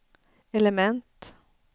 element